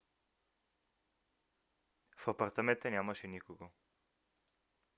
в апартамента нямаше никого